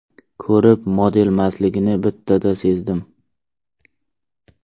Ko‘rib, modelmasligini bittada sezdim.